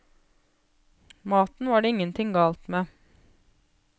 Maten var det ingenting galt med.